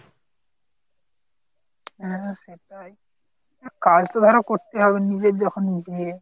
হ্যাঁ সেটাই কাজ তো ধরো করতে হবে, নিজের যখন বিয়ে।